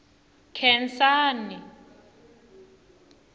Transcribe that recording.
khensani